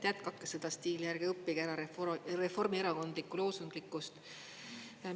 Jätkake seda stiili, ärge õppige ära Reformierakondlikku loosunglikkust!